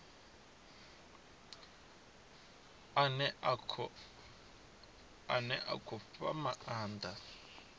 ane a khou fha maanda